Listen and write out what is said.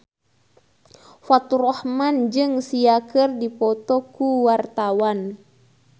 Faturrahman jeung Sia keur dipoto ku wartawan